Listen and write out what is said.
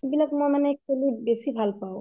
সেইবিলাক মানে মই খেলি বেছি ভাল পাওঁ